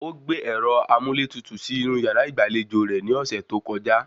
Ó gbé ẹ̀rọ amúlétutù sí inú yàrá ìgbàlejò rẹ̀ ni ọ̀sẹ̀ tó kọjá